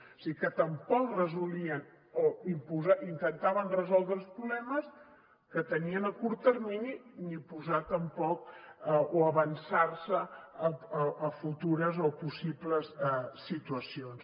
o sigui que tampoc resolien o intentaven resoldre els problemes que tenien a curt termini ni posar tampoc o avançar se a futures o a possibles situacions